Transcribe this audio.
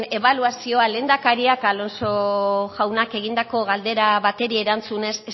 ebaluazioa lehendakariak alonso jaunak egindako galdera bati erantzunez